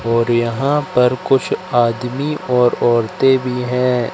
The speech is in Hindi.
और यहां पर कुछ आदमी और औरतें भी है।